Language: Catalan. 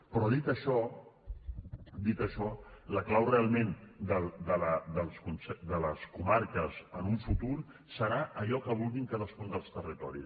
però dit això dit això la clau realment de les comarques en un futur serà allò que vulguin cadascun dels territoris